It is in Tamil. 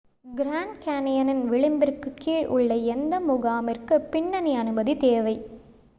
கிராண்ட் கேன்யனின் விளிம்பிற்குக் கீழ் உள்ள எந்த முகாமிற்கும் பின்னணி அனுமதி தேவை